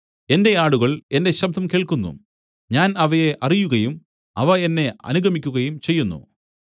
എന്റെ ആടുകൾ എന്റെ ശബ്ദം കേൾക്കുന്നു ഞാൻ അവയെ അറിയുകയും അവ എന്നെ അനുഗമിക്കുകയും ചെയ്യുന്നു